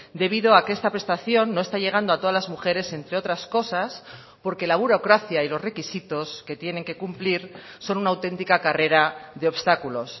debido a que esta prestación no está llegando a todas las mujeres entre otras cosas porque la burocracia y los requisitos que tienen que cumplir son una autentica carrera de obstáculos